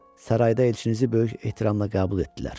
Sarayda elçinizi böyük ehtiramla qəbul etdilər.